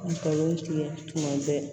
Ngalon tigɛ tuma bɛɛ